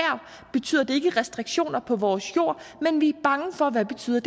betyder det ikke restriktioner på vores jord men vi er bange for hvad det betyder